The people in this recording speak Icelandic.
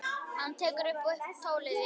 Hann tekur upp tólið: Já, já.